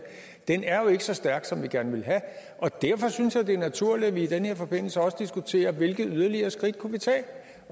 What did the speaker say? ikke så stærk som vi gerne vil have derfor synes jeg det er naturligt at vi i den her forbindelse også diskuterer hvilke yderligere skridt vi kunne tage